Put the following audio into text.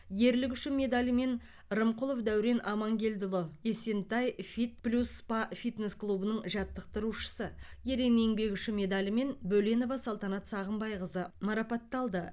ерлігі үшін медалімен рымқұлов дәурен амангелдіұлы есентай фит плюс спа фитнес клубының жаттықтырушысы ерен еңбегі үшін медалімен бөленова салтанат сағымбайқызы марапатталды